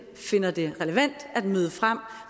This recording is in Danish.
finder det relevant at møde frem